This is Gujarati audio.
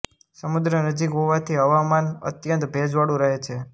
સમુદ્ર નજીક હોવાથી હવામાન અત્યંત ભેજવાળું રહે છે